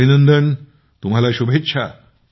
अभिनंदन आणि तुम्हाला शुभेच्छा